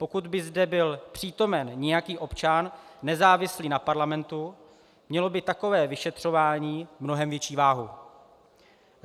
Pokud by zde byl přítomen nějaký občan nezávislý na parlamentu, mělo by takové vyšetřování mnohem větší váhu.